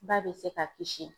Ba bɛ se ka kisi.